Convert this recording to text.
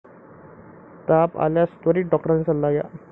ताप आल्यास त्वरित डॉक्टरांचा सल्ला घ्या.